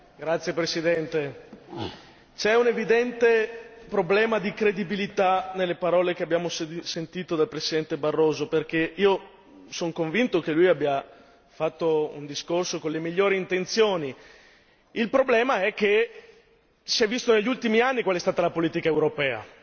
Signor Presidente, onorevoli colleghi, c'è un evidente problema di credibilità nelle parole che abbiamo sentito dal Presidente Barroso, perché io sono convinto che lui abbia fatto un discorso con le migliori intenzioni. Il problema è che si è visto negli ultimi anni quale è stata la politica europea